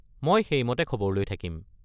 মই সেইমতে খবৰ লৈ থাকিম।